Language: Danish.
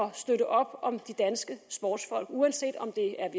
at støtte op om de danske sportsfolk uanset om det er